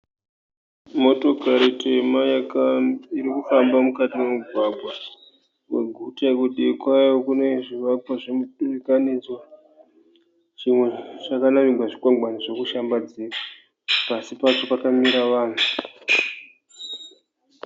Motokari tema iri kufamba mukati momugwagwa weguta. Kudivi kwayo kune zvivako zvemudurikanidzwa. Zvimwe zvakanamirwa zvikwangwani zvokushambadzira. Pasi pacho pakamira vanhu.